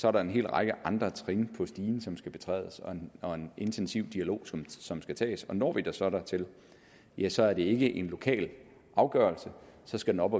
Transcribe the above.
er der en hel række andre trin på stigen som skal betrædes og og en intensiv dialog som skal tages og når vi så dertil ja så er det ikke en lokal afgørelse så skal den op